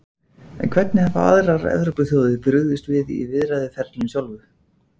En hvernig hafa aðrar Evrópuþjóðir brugðist við í viðræðuferlinu sjálfu?